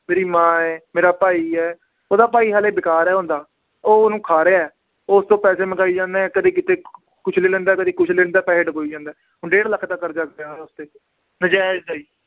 ਮੇਰੀ ਮਾਂ ਹੈ, ਮੇਰਾ ਭਾਈ ਹੈ ਉਹਦਾ ਭਾਈ ਹਾਲੇ ਉਹ ਉਹਨੂੰ ਖਾ ਰਿਹਾ ਹੈ, ਉਹ ਉਸ ਤੋਂ ਪੈਸੇ ਮੰਗਾਈ ਜਾਂਦਾ ਹੈ ਕਦੇ ਕਿਤੇ ਕੁਛ ਲੈ ਲੈਂਦਾ ਕਦੇ ਕੁਛ ਲੈਂਦਾ ਪੈਸੇ ਡੁਬੋਈ ਜਾਂਦਾ ਹੈ ਹੁਣ ਡੇਢ ਲੱਖ ਦਾ ਕਰਜਾ ਪਿਆ ਨਜਾਇਜ਼ ਦਾ ਹੀ